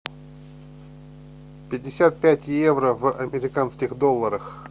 пятьдесят пять евро в американских долларах